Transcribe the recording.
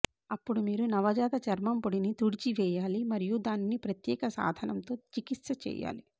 అప్పుడు మీరు నవజాత చర్మం పొడిని తుడిచివేయాలి మరియు దానిని ప్రత్యేక సాధనంతో చికిత్స చేయాలి